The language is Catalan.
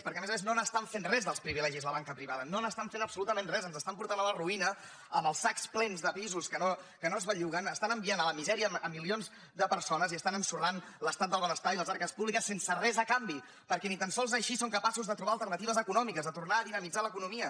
perquè a més a més no n’estan fent res dels privilegis la ban·ca privada no n’estan fent absolutament res ens estan portant a la ruïna amb els sacs plens de pisos que no es belluguen estan enviant a la misèria milions de per·sones i estan ensorrant l’estat del benestar i les arques públiques sense res a canvi perquè ni tan sols així són capaços de trobar alternatives econòmiques de tornar a dinamitzar l’economia